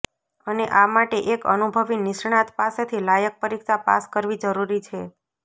અને આ માટે એક અનુભવી નિષ્ણાત પાસેથી લાયક પરીક્ષા પાસ કરવી જરૂરી છે